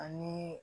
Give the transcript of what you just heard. Ani